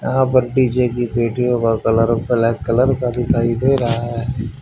यहां पर डीजे की पेटियों का कलर ब्लैक कलर का दिखाई दे रहा है।